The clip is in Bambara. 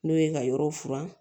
N'o ye ka yɔrɔw furan